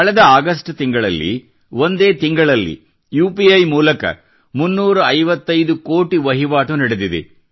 ಕಳೆದ ಆಗಸ್ಟ್ ತಿಂಗಳಿನಲ್ಲಿ ಒಂದೇ ತಿಂಗಳಿನಲ್ಲಿ ಯುಪಿಇ ನಿಂದ 355 ಕೋಟಿ ವಹಿವಾಟು ನಡೆದಿದೆ